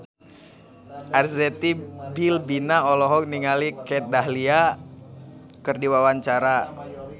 Arzetti Bilbina olohok ningali Kat Dahlia keur diwawancara